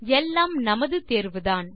எல்லாம் நமது தேர்வுதான்